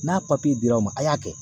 N'a papiye dir'aw ma a y'a kɛ